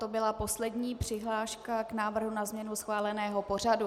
To byla poslední přihláška k návrhu na změnu schváleného pořadu.